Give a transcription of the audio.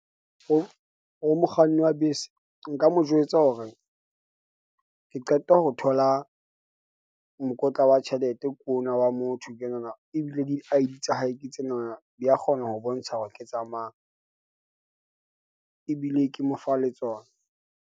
Ho ho mokganni wa bese, nka mo jwetsa hore ke qeta ho thola mokotla wa tjhelete ke ona wa motho. Ke nahana ebile di-I_D tsa hae ke tsena na. Di ya kgona ho bontsha hore ke tsa mang ebile ke mo fa le tsona.